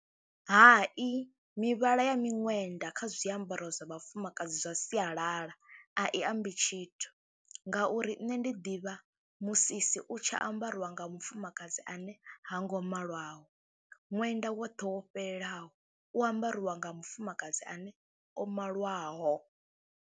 Hai mivhala ya miṅwenda kha zwiambaro zwa vhafumakadzi zwa sialala a i ambi tshithu ngauri nṋe ndi ḓivha musisi u tshi ambariwa nga mufumakadzi ane ha ngo malwaho, ṅwenda woṱhe wo fhelelaho u ambariwa nga mufumakadzi ane o malwaho.